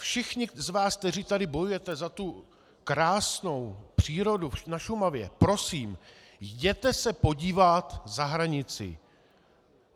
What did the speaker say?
Všichni z vás, kteří tady bojujete za tu krásnou přírodu na Šumavě, prosím, jděte se podívat za hranici.